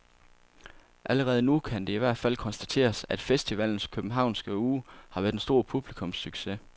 Allerede nu kan det i hvert fald konstateres, at festivalens københavnske uge har været en stor publikumssucces.